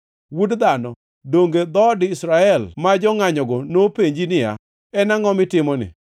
Wuod dhano, donge dhood jo-Israel ma jongʼanyogo nopenji niya, En angʼo mitimoni?